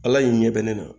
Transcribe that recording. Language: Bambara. Ala y'i ɲɛ bɛ ne na